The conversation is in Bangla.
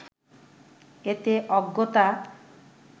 এতে অজ্ঞতা